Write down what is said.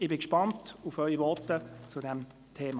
Ich bin gespannt auf Ihre Voten zu diesem Thema.